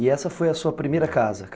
E essa foi a sua primeira casa?